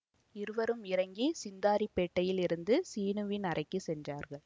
இருவரும் இறங்கி சிந்தாதிரிப்பேட்டையில் இருந்த சீனுவின் அறைக்கு சென்றார்கள்